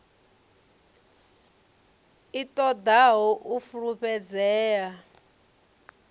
i ṱo ḓaho u fulufhedzea